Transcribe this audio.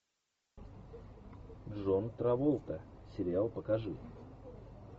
джон траволта сериал покажи